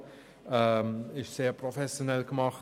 Die Website ist sehr professionell aufgebaut.